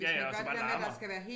Ja ja og så bare larmer